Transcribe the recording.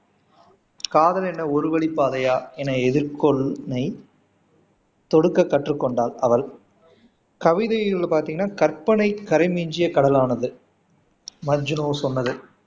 காதல் என்ன ஒருவழிப்பாதையா என்னை தொடுக்க கற்றுக்கொண்டாள் அவள் கவிதைகள் பாத்தீங்கன்னா கற்பனைக்கரை மிஞ்சிய கடலானது மஜ்னு சொன்னது